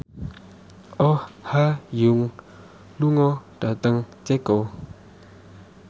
Oh Ha Young lunga dhateng Ceko